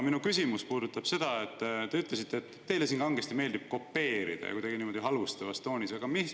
Minu küsimus puudutab seda, et te ütlesite, et teile siin kangesti meeldib kopeerida, kuidagi niimoodi halvustavas toonis.